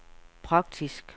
praktisk